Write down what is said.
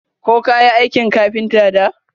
Ko kayi aikin kafinta da?